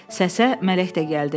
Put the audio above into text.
Səsə Mələk də gəldi.